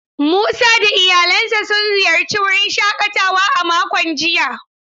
Musa da iyalansa sun ziyarci wurin shakatawa a makon jiya.